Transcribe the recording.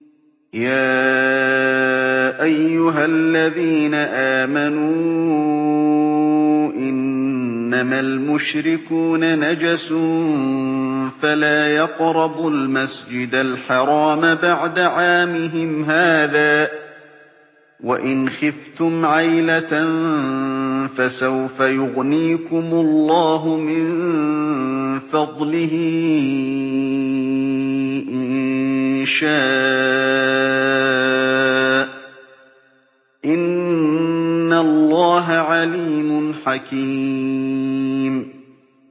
يَا أَيُّهَا الَّذِينَ آمَنُوا إِنَّمَا الْمُشْرِكُونَ نَجَسٌ فَلَا يَقْرَبُوا الْمَسْجِدَ الْحَرَامَ بَعْدَ عَامِهِمْ هَٰذَا ۚ وَإِنْ خِفْتُمْ عَيْلَةً فَسَوْفَ يُغْنِيكُمُ اللَّهُ مِن فَضْلِهِ إِن شَاءَ ۚ إِنَّ اللَّهَ عَلِيمٌ حَكِيمٌ